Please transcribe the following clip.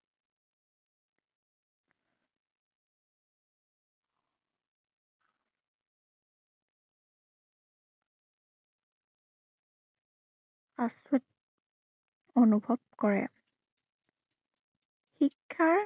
আচৰ্য অনুভৱ কৰে। শিক্ষা